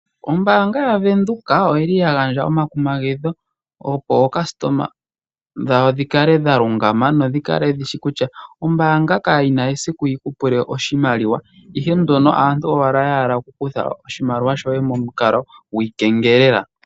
Ombaanga yaVenduka oyili ya gandja omakumagidho, opo aayakulwa yawo ya kale ya lungama noyakale yeshi kutya ombaanga kayina esiku yi kupule oshimaliwa. Ihe mbono aantu ashike ya hala okukutha oshimaliwa shoye momukalo gwiikengelela.